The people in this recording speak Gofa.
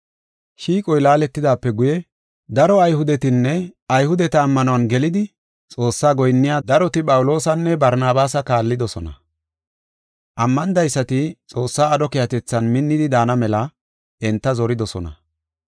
Shiiqoy laaletidaape guye, daro Ayhudetinne Ayhudeta ammanuwan gelidi Xoossaa goyinniya daroti Phawuloosanne Barnabaasa kaallidosona. Ammanidaysati Xoossaa aadho keehatethan minnidi daana mela enta zoridosona.